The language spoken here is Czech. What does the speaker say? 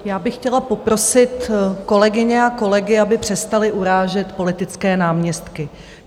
Já bych chtěla poprosit kolegyně a kolegy, aby přestali urážet politické náměstky.